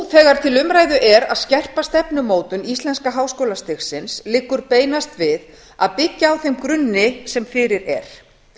umræðu er að skerpa stefnumótun íslenska háskólastigsins liggur beinast við að byggja á þeim grunni sem fyrir er